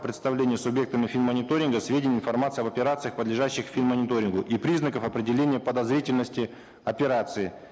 предоставления субъектами фин мониторинга сведений и информации об операциях подлежащих фин мониторингу и признаков определения подозрительности операций